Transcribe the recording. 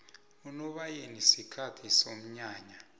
unobayeni sikhathi somnyanya